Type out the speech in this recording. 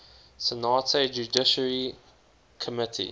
senate judiciary committee